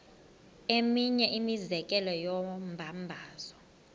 eminye imizekelo yombabazo